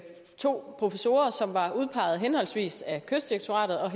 to professorer som var udpeget henholdsvis af kystdirektoratet og